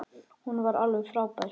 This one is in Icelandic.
Hún var alveg frábær.